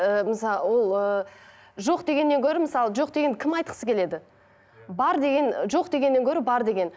ііі ол ыыы жоқ дегеннен гөрі мысалы жоқ дегенді кім айтқысым келеді бар деген жоқ дегеннен гөрі бар деген